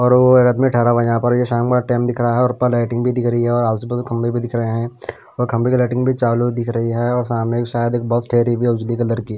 और वो एक आदमी ठहरा हुआ है यहाँ पर और ये शाम एक टैम भी दिख रहा है और ऊपर लाइटिंग भी दिख रही है और आजूबाजू खंभे भी दिख रहे हैं और खंभे की लाइटिंग भी चालो दिख रही है और सामने एक शायद बस ठहरी हुई है उसदी कलर की।